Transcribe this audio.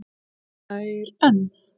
Hlær enn.